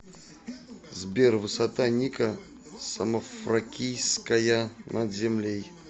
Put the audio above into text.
сбер высота ника самофракийская над землей